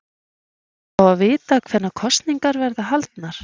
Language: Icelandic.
Að fá að vita hvenær kosningarnar verða haldnar?